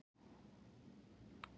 Víglundur